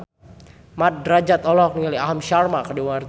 Mat Drajat olohok ningali Aham Sharma keur diwawancara